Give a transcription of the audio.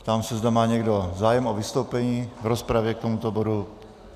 Ptám se, zda má někdo zájem o vystoupení v rozpravě k tomuto bodu.